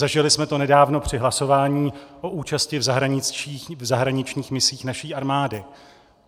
Zažili jsme to nedávno při hlasování o účasti v zahraničních misích naší armády.